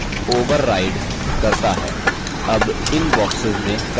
अब इन boxes में content प्रविष्ट करें